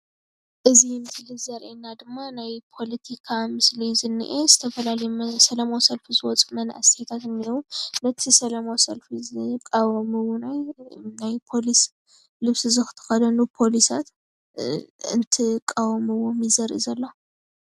እዚ ምስሊ ዘርየና ድማ ናይ ፖለቲካ ምስሊ ዝነኤ ፡፡ ዝተፈላለዩ ሰላማዊ ሰልፊ ዝወፁ መናእሰያት እንአዉ፡፡ ነቲ ሰላማዊ ሰልፊ ዝቃወሙ እውን ናይ ፖሊስ ልብሲ ዝተኸደኑ ፖሊሳት እንትቃወምዎም ዘርኢ ዘሎ፡፡